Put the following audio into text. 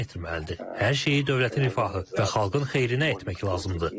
Hər şeyi dövlətin rifahı və xalqın xeyrinə etmək lazımdır.